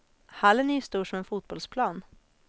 Hallen är ju stor som en fotbollsplan.